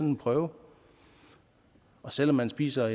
en prøve og selv om man spiser